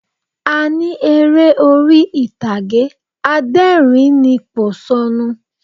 A ní eré orí ìtàgé adẹ́rìnínpòṣónú